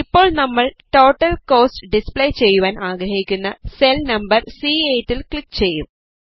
ഇപ്പോൾ നമ്മൾ total cost display ചെയ്യുവാൻ ആഗ്രഹിക്കുന്ന സെൽ നമ്പർ C8ൽ ക്ലിക് ചെയ്യും